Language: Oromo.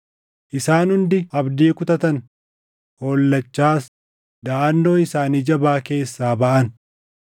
Isaan hundi abdii kutatan; hollachaas daʼannoo isaanii jabaa keessaa baʼan.